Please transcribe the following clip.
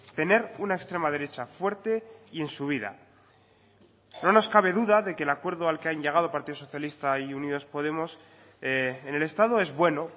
tener una extrema derecha fuerte y en subida no nos cabe duda de que el acuerdo al que han llegado partido socialista y unidas podemos en el estado es bueno